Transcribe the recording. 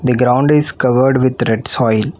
The ground is covered with red soil.